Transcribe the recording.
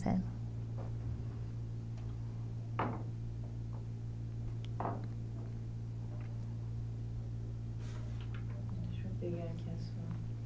Deixa eu pegar aqui a sua...